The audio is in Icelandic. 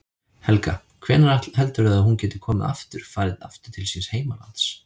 Helga: Hvenær heldurðu að hún geti komið aftur, farið aftur til síns heimalands?